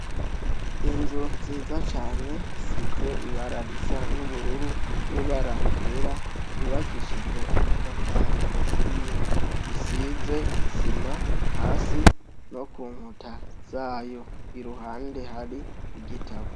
Inzu nziza cane, isize ibara risa n' ubururu n' ibara ryera, yubakishijwe amatafari aturiye, isize isima hasi no kunkuta zayo, iruhande hari igitabo.